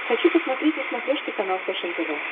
хочу посмотреть на смотрешке канал фэшен тв